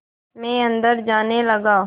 मैं अंदर जाने लगा